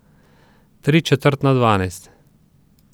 Tri četrt na dvanajst.